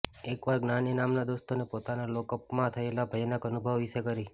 એક વાર જ્ઞાાની નામના દોસ્તને પોતાને લોક અપમાં થયેલા ભયાનક અનુભવો વિશે કરી